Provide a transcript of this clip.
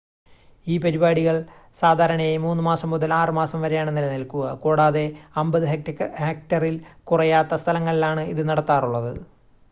ഈ പരിപാടികൾ സാധാരണയായി 3 മാസം മുതൽ 6 മാസം വരെയാണ് നിലനിൽക്കുക കൂടാതെ 50 ഹെക്റ്ററിൽ കുറയാത്ത സ്ഥലങ്ങളിലാണ് ഇത് നടത്താറുള്ളത്